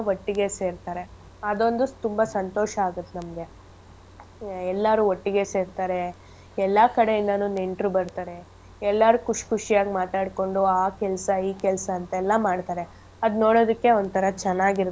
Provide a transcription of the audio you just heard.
ಒಟ್ಟಿಗೆ ಸೇರ್ತಾರೆ ಅದೊಂದು ತುಂಬಾ ಸಂತೋಷ ಆಗತ್ ನಮ್ಗೆ ಎಲ್ಲಾರು ಒಟ್ಟಿಗೆ ಸೇರ್ತಾರೆ ಎಲ್ಲಾ ಕಡೆ ಇಂದಾನು ನೆಂಟ್ರು ಬರ್ತಾರೆ ಎಲ್ಲಾರ್ ಖುಷ್~ ಖುಷಿಯಾಗ್ ಮಾತಾಡ್ಕೊಂಡು ಆ ಕೆಲ್ಸ ಈ ಕೆಲ್ಸ ಅಂತೆಲ್ಲಾ ಮಾಡ್ತಾರೆ ಅದ್ ನೋಡೋದಕ್ಕೆ ಒಂತರ ಚೆನ್ನಾಗಿರತ್ತೆ.